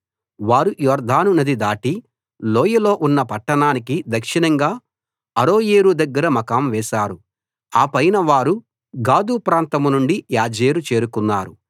వారు యొర్దాను నది దాటి లోయలో ఉన్న పట్టణానికి దక్షిణంగా అరోయేరు దగ్గర మకాం వేశారు ఆపైన వారు గాదు ప్రాంతం గుండా యాజేరు చేరుకున్నారు